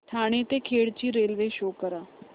ठाणे ते खेड ची railway show करा